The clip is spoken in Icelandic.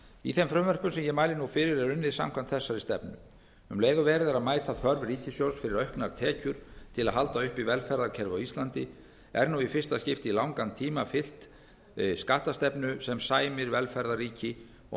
í þeim frumvörpum sem ég mæli nú fyrir er unnið samkvæmt þessari stefnu um leið og verið er að mæta þörf ríkissjóðs fyrir auknar tekjur til að halda uppi velferðarkerfi á íslandi er nú í fyrsta skipti í langan tíma fylgt skattastefnu sem sæmir velferðarríki og